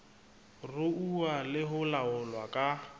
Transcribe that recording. ruuwa le ho laolwa ka